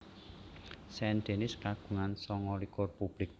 Saint Denis kagungan sanga likur publik